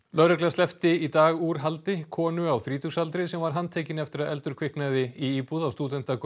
lögregla sleppti í dag úr haldi konu á þrítugsaldri sem var handtekin eftir að eldur kviknaði í íbúð á stúdentagörðum